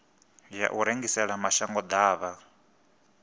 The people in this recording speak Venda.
ya u rengisela mashango ḓavha